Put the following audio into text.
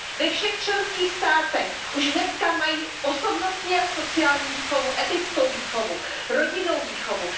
Ve všech členských státech už dneska mají osobnostní a sociální výchovu, etickou výchovu, rodinnou výchovu.